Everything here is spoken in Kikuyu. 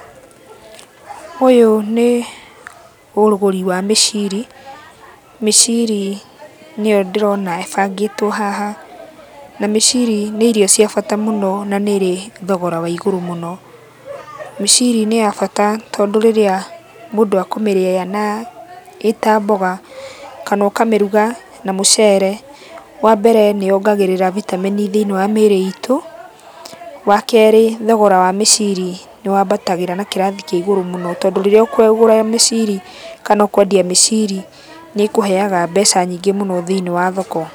Ũyũ nĩ ũgũri wa mĩciri. Mĩciri nĩyo ndĩrona ĩbangĩtwo haha, na mĩciri nĩ irio cia bata mũno na nĩ ĩrĩ thogora wa igũrũ mũno. Mĩciri nĩ ya bata tondũ rĩrĩa mũndũ ekũmĩrĩa na ĩta mboga, kana ũkamĩruga na mũcere, wambere nĩyongagĩrĩra bitamini thĩiniĩ wa mĩĩrĩ itũ. Wakerĩ thogora wa mĩciri nĩwambatagĩra na kĩrathi kĩa igũrũ mũno, tondũ rĩrĩa ũkũgũra mĩciri kana ũkwendia mĩciri, nĩĩkũheaga mbeca nyingĩ mũno thĩiniĩ wa thoko.